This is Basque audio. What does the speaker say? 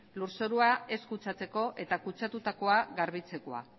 lurzorua ez kutsatzeko eta kutsatutakoa garbitzekoa